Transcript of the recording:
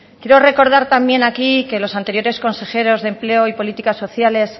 quiero recordar también aquí que los anteriores consejeros de empleo y políticas sociales